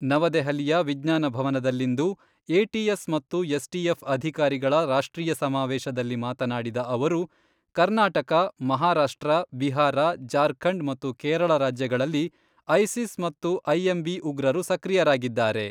ನವದೆಹಲಿಯ ವಿಜ್ಞಾನ ಭವನದಲ್ಲಿಂದು ಎಟಿಎಸ್ ಮತ್ತು ಎಸ್ಟಿಎಫ್ ಅಧಿಕಾರಿಗಳ ರಾಷ್ಟ್ರೀಯ ಸಮಾವೇಶದಲ್ಲಿ ಮಾತನಾಡಿದ ಅವರು, ಕರ್ನಾಟಕ, ಮಹಾರಾಷ್ಟ್ರ, ಬಿಹಾರ, ಜಾರ್ಖಂಡ್ ಮತ್ತು ಕೇರಳ ರಾಜ್ಯಗಳಲ್ಲಿ ಐಸಿಸ್ ಮತ್ತು ಐಎಂಬಿ ಉಗ್ರರು ಸಕ್ರಿಯರಾಗಿದ್ದಾರೆ.